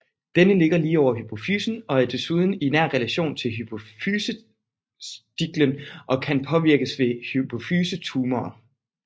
Denne ligger lige over hypofysen og desuden i nær relation til hypofysestilken og kan påvirkes ved hypofysetumorer